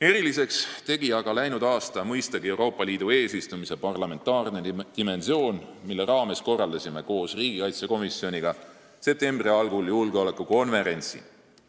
Eriliseks tegi aga läinud aasta mõistagi Euroopa Liidu eesistumise parlamentaarne dimensioon, mille raames korraldasime koos riigikaitsekomisjoniga septembri algul julgeolekukonverentsi.